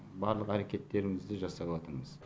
барлық әрекеттерімізді жасаватрмыз